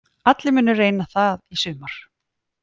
Allir munu reyna það í sumar